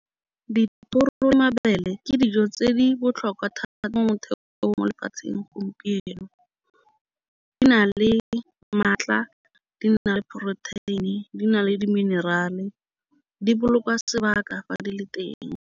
Dithoro le mabele ke dijo tse di botlhokwa thata mo motheo jo bo mo lefatsheng gompieno. Di na le maatla di na le protein-e di na le di-mineral-e di boloka sebaka fa di le teng.